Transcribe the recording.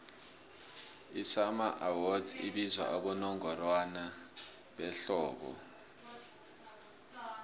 amasummer awards abizwa abowongorwana behlobo